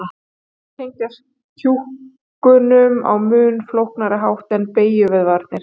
Þeir tengjast kjúkunum á mun flóknari hátt en beygjuvöðvarnir.